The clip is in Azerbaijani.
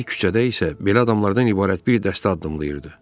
Bir küçədə isə belə adamlardan ibarət bir dəstə addımlayırdı.